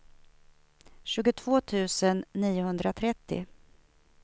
tjugotvå tusen niohundratrettio